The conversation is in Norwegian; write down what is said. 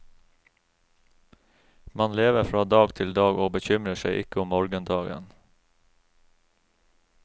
Man lever fra dag til dag og bekymrer seg ikke om morgendagen.